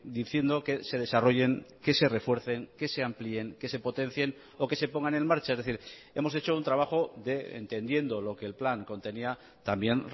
diciendo que se desarrollen que se refuercen que se amplíen que se potencien o que se pongan en marcha es decir hemos hecho un trabajo de entendiendo lo que el plan contenía también